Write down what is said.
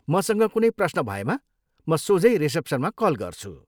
मसँग कुनै प्रश्न भएमा म सोझै रिसेप्सनमा कल गर्छु।